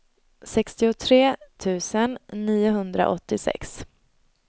sextiotre tusen niohundraåttiosex